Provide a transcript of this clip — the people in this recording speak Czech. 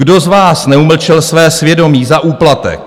Kdo z vás neumlčel své svědomí za úplatek?